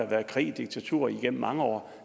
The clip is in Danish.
været krig og diktatur igennem mange år